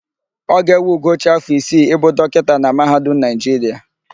Ọ ga-ewe Ugochi afọ isii ịbụ dọkịta na mahadum Naịjiria.